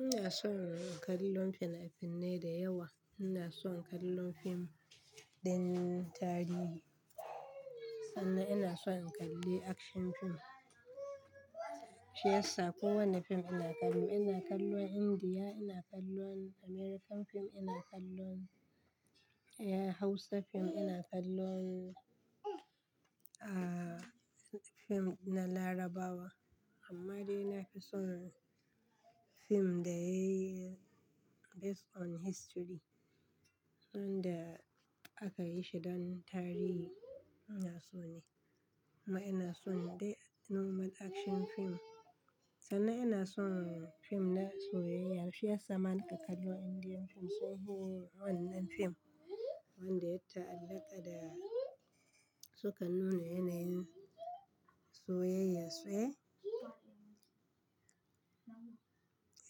Ina son kallon fina-finai da yawa. Ina son kallon fim ɗin tarihi sannan ina son in kalli action fim. Shiyasa kowane fim ina kallo. Ina kallon Indiya, ina kallon American fim, ina kallon, eh Hausa fim, ina kallon, ah, fim na Larabawa. Amma dai na fi son fim da ya yi based on history, wanda aka yi shi don tarihi ina so ne. Amma ina son dai normal action fim sannan ina son fim na soyayya. Shiyasa bana kalla Indiya fim sai dai wannan fim wanda ya ta'allaka da su kan nuna yanayin soyayya su.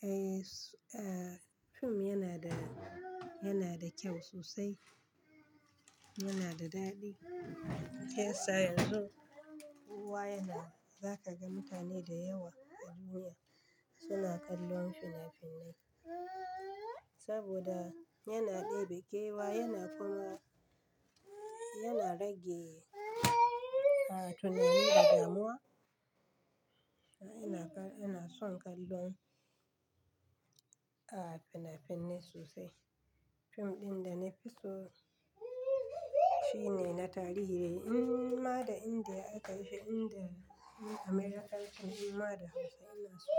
Eh, ah, fim yana da, yana da kyau sosai, yana da daɗi. Shi yasa yanzu kowa yana za ka ga mutane da yawa a duniya suna kallon fina-finai saboda yana ɗebe ƙewa, yana kuma, yana rage, ah, tunani da damuwa. Amma ina son kallon, ah, fina-finai sosai. Fim ɗin da na fi so shi ne na tarihi. In ma da Indiya aka yi shi, in da American fim in ma da Hausa ina so.